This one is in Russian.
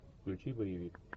включи боевик